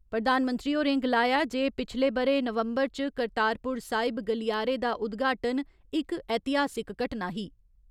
प्रधानमंत्री होरें गलाया जे पिछले ब'रे नवम्बर च करतारपुर साहिब गलियारे दा उद्घाटन इक ऐतिहासिक घटना ही।